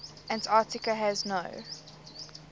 antarctica has no